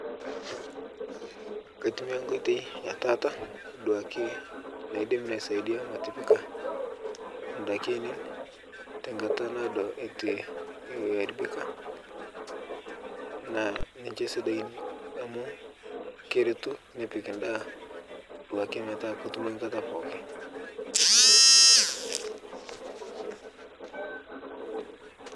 Kaitumiyaa nkoitei e taata duake naidim naisaidiaa matipika ndaki ainien tenkata naa duake eitu e haribika naa ninche sidain amu keretu nepik ndaa duake metaa kotumoi nkata pooki.